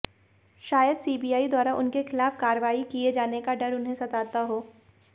शायद सीबीआई द्वारा उनके खिलाफ कार्रवाई किए जाने का डर उन्हें सताता हो